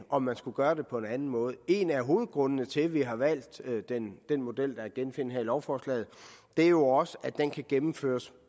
om man skulle gøre det på en anden måde en af hovedgrundene til at vi har valgt den model der er at genfinde her i lovforslaget er jo også at den kan gennemføres